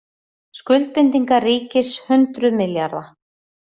Skuldbindingar ríkis hundruð milljarða